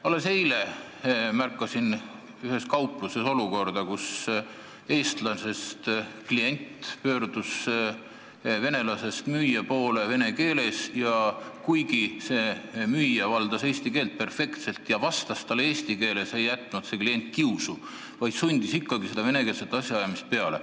Alles eile märkasin ühes kaupluses olukorda, kus eestlasest klient pöördus venelasest müüja poole vene keeles ja kuigi see müüja valdas eesti keelt perfektselt ja vastas eesti keeles, ei jätnud see klient kiusu, vaid sundis ikkagi venekeelset asjaajamist peale.